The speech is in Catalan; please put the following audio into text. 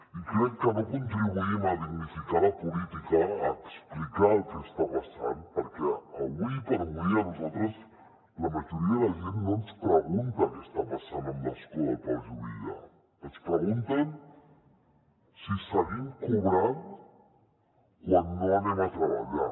i crec que no contribuïm a dignificar la política a explicar el que està passant perquè ara per ara a nosaltres la majoria de la gent no ens pregunta què passa amb l’escó del pau juvillà ens pregunten si seguim cobrant quan no anem a treballar